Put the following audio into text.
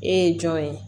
E ye jɔn ye